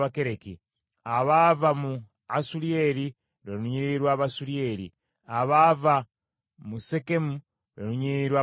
abaava mu Asuliyeri, lwe lunyiriri lw’Abasuliyeri, abaava mu Sekemu, lwe lunyiriri lw’Abasekemu: